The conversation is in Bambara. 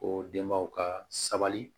O denbaw ka sabali